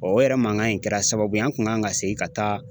o yɛrɛ mankan in kɛra sababu ye an kun kan ka segin ka taa